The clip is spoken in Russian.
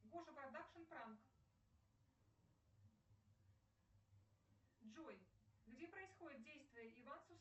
гоша продакшн пранк джой где происходит действие